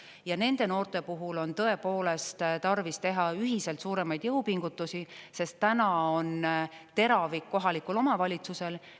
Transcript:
Ja nende noorte puhul on tõepoolest tarvis teha ühiselt suuremaid jõupingutusi, sest täna on teravik kohalikul omavalitsusel.